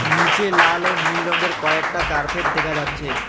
নীচে লাল ও নীল রঙের কয়েকটা কার্পেট দেখা যাচ্ছে।